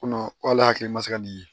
Ko k'ale hakili ma se ka nin ye